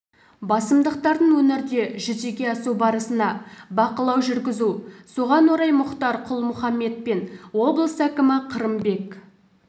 басымдықтардың өңірде жүзеге асу барысына бақылау жүргізу соған орай мұхтар құл-мұхаммед пен облыс әкімі қырымбек